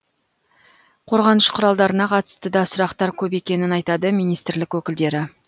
қорғаныш құралдарына қатысты да сұрақтар көп екенін айтады министрлік өкілдері